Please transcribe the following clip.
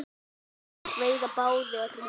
Þeir veiða báðir í net.